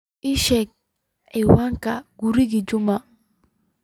ii sheeg ciwaanka guriga juma